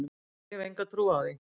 Nei ég hef enga trú á því.